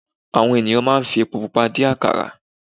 Àwọn ènìyàn máa ń fi epo pupa dín àkàrà.